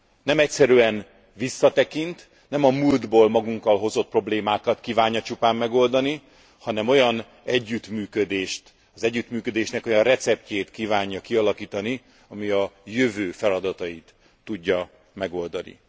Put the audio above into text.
Nem egyszerűen visszatekint, nem a múltból magunkkal hozott problémákat kívánja csupán megoldani, hanem az együttműködésnek olyan receptjét kívánja kialakítani, ami a jövő feladatait tudja megoldani.